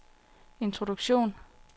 introduktion